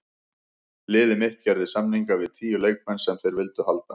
Liðið mitt gerði samninga við tíu leikmenn sem þeir vildu halda.